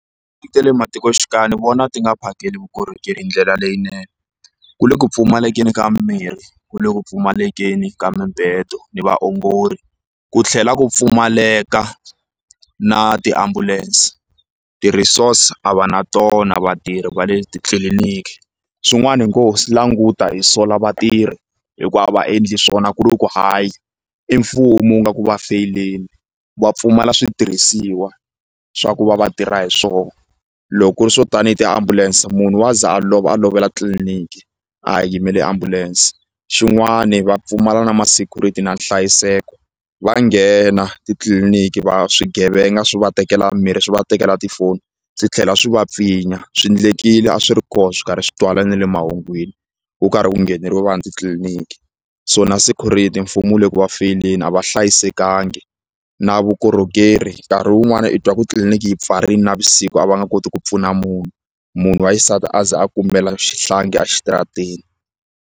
Ta le matikoxikaya ni vona ti nga phakeli vukorhokeri hi ndlela leyinene ku le ku pfumalekeni ka mimirhi ku le ku pfumalekeni ka mibedo ni vaongori ku tlhela ku pfumaleka na ti-ambulance ti-resources a va na tona vatirhi va le titliliniki swin'wana hi ngo swi languta hi sola vatirhi hikuva a va endli swona ku ri ku hayi i mfumo wu nga ku va feyileni va pfumala switirhisiwa swa ku va va tirha hi swoho loko ku ri swo tanihi tiambulense munhu wa za a lova a lovela tliliniki a ha yimele ambulense xin'wani va pfumala na ma security na nhlayiseko va nghena titliliniki va swigevenga swi va tekela mirhi swi va tekela tifoni swi tlhela swi va pfinya swi ndlekile a swi ri koho swi karhi swi twala na le emahungwini ku karhi ku ngheneriwa vanhu titliliniki so na security mfumo wu le ku va feyileni a va hlayisekangi na vukorhokeri nkarhi wun'wani i twa ku tliliniki yi pfarini navusiku a va nga koti ku pfuna munhu munhu wa xisati a ze a kumela xihlangi exitarateni.